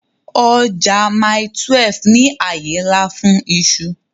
Ọjà Mile 12 ní àyè ńlá fún iṣu